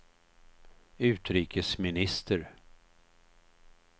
utrikesminister